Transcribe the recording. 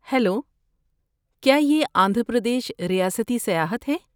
Hello, کیا یہ آندھرا پردیش ریاستی سیاحت ہے؟